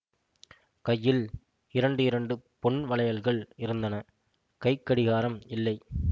கையில் இரண்டு இரண்டு பொன் வளையல்கள் இருந்தன கைக்கடியாரம் இல்லை